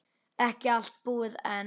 Ekki allt búið enn.